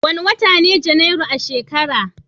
Wane wata ne Janairu a shekara?